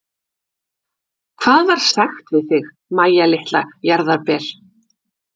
Hvað var sagt við þig, Mæja litla jarðarber?